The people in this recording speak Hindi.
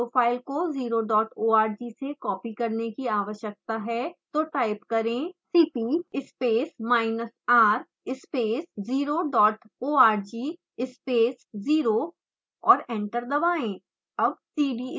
हमें 0 फाइल को 0 dot org से कॉपी करने की आवश्यकता है तो टाइप करें: cp space minus r space 0 dot org space 0 और एंटर दबाएँ